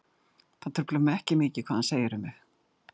Það truflar mig ekki mikið hvað hann segir um mig.